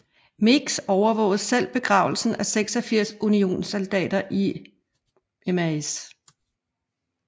Meigs overvågede selv begravelsen af 26 unionssoldater i Mrs